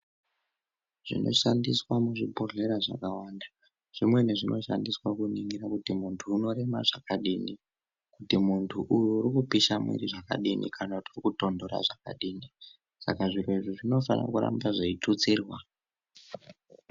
Zvinoshandiswa muzvibhodhlera zvakawanda zvimweni zvinoshandiswa kuningira kuti muntu unorema zvakadini kuti muntu uyu urikupisha mwiri zvakadini kana ukutonhora zvakadini saka zviro izvi zvinofana kuramba zveitutsirwa.